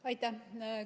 Aitäh!